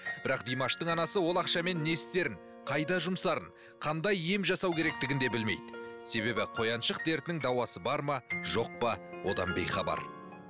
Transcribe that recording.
бірақ димаштың анасы ол ақшамен не істерін қайда жұмсарын қандай ем жасау керектігін де білмейді себебі қояншық дертінің дауасы бар ма жоқ па одан бейхабар